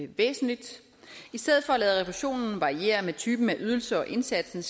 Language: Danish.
væsentligt i stedet for at lade refusionen variere med typen af ydelser og indsatsen